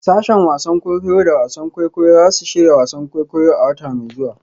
Sashen wasan kwaikwayo da wasan kwaikwayo za su shirya wasan kwaikwayo a wata mai zuwa.